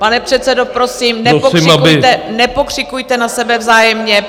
Pane předsedo, prosím, nepokřikujte na sebe vzájemně.